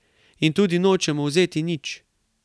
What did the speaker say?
In tudi nočemo vzeti nič.